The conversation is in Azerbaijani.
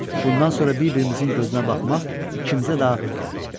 Bundan sonra bir-birimizin gözünə baxmaq ikimizə də ağır gəlirdi.